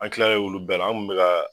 An tilalen olu bɛɛ la an kun bɛ ka